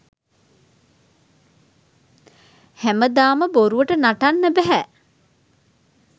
හැමදාම බොරුවට නටන්න බැහැ.